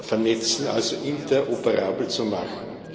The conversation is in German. vernetzen, also interoperabel zu machen.